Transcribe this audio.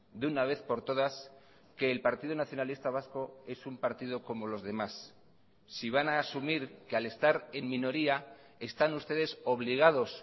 de una vez por todas que el partido nacionalista vasco es un partido como los demás si van a asumir que al estar en minoría están ustedes obligados